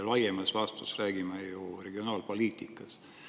Laiemas laastus me räägime ju regionaalpoliitikast.